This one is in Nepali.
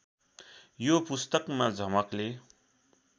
यो पुस्तकमा झमकले